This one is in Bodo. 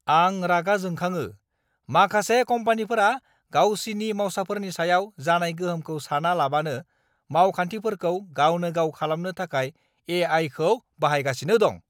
आं रागा जोंखाङो, माखासे कम्पानिफोरा गावसिनि मावसाफोरनि सायाव जानाय गोहोमखौ सानालाबानो मावखान्थिफोरखौ गावनो-गाव खालामनो थाखाय ए.आइ.खौ बाहायगासिनो दं।